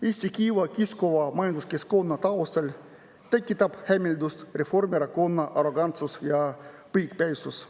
Eesti kiiva kiskuva majanduskeskkonna taustal tekitab hämmeldust Reformierakonna arrogantsus ja põikpäisus.